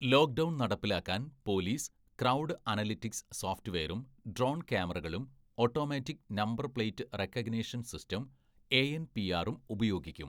"Lockdown‍ നടപ്പിലാക്കാന്‍ police crowd analytics സോഫറ്റ് വെയറും ഡ്രോണ്‍ ക്യാമറകളും automatic number‍ plate recognition‍ system, എഎന്‍പിആറും ഉപയോഗിക്കും. "